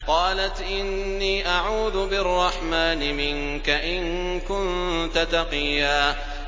قَالَتْ إِنِّي أَعُوذُ بِالرَّحْمَٰنِ مِنكَ إِن كُنتَ تَقِيًّا